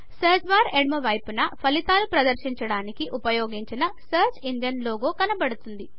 search bar ఎడమ వైపున ఫలితాలను ప్రదర్శించడానికి ఉపయోగించిన సర్చ్ ఇంజన్ లోగో కనపడుతుంది